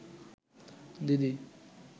দিদি